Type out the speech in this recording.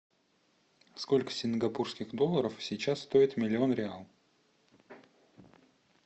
сколько сингапурских долларов сейчас стоит миллион реал